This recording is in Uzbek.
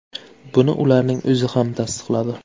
Buni ularning o‘zi ham tasdiqladi.